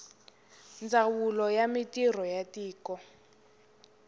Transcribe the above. ndzawulo ya mintirho ya tiko